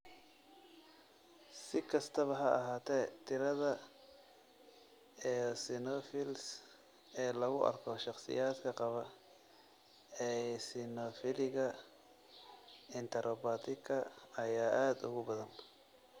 Si kastaba ha ahaatee, tirada eosinophils ee lagu arko shakhsiyaadka qaba eosinophiliga enteropathiga ayaa aad uga badan.